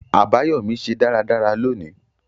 Àbáyọ́mí se dáradára loni